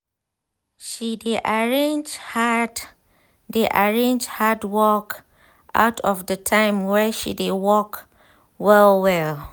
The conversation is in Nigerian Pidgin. she dey arrange hard dey arrange hard work out for the time wey she dey work well well